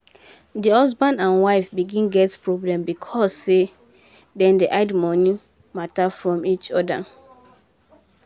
the husband and wife begin get problem because um dey dem hide money matter from each other.